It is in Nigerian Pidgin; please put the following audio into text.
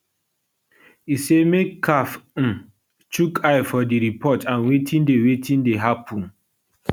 e say make caf um chook eye for di report and wetin dey wetin dey happun